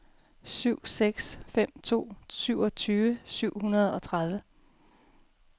syv seks fem to syvogtyve syv hundrede og tredive